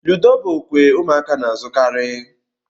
Ludo bụ okwe ụmụaka na-azukari.